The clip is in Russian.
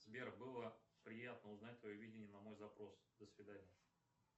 сбер было приятно узнать твое видение на мой запрос до свидания